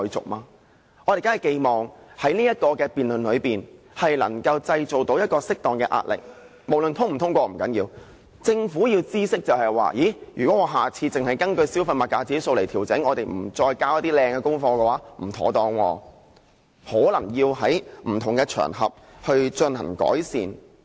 我們當然寄望在這個辯論中能夠製造適當的壓力，無論通過與否也不重要，讓政府知悉，如果下次只根據丙類消費物價指數來調整，不再交出好的功課時，那樣便不妥當，可能要在不同場合進行改善。